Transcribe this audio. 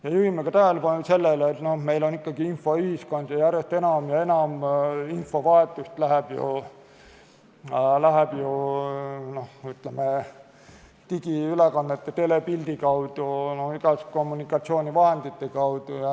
Me juhime tähelepanu ka sellele, et meil on ikkagi infoühiskond ja järjest enam ja enam infovahetust toimub ju digiülekannete, telepildi kaudu, igasuguste kommunikatsioonivahendite kaudu.